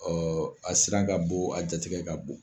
Ɔ a siran ka bon, a jatigɛ ka bon.